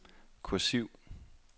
kursiv